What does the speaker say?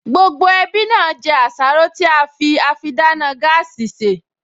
Gbogbo ẹbí náà jẹ àsáró tí á fi àfidáná gáàsì sè